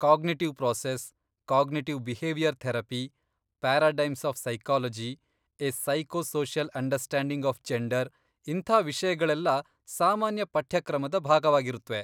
Cognitive process, cognitive behaviour therapy, paradigms of psychology, a psycho social understanding of gender ಇಂಥ ವಿಷಯಗಳೆಲ್ಲ ಸಾಮಾನ್ಯ ಪಠ್ಯಕ್ರಮದ ಭಾಗವಾಗಿರತ್ವೆ.